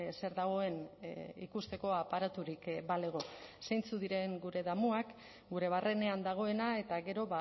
zer dagoen ikusteko aparaturik balego zeintzuk diren gure damuak gure barrenean dagoena eta gero